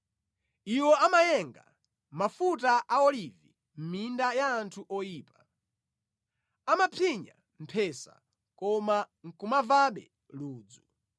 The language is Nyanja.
Iwo amayenga mafuta a olivi mʼminda ya anthu oyipa; amapsinya mphesa, koma nʼkumamvabe ludzu.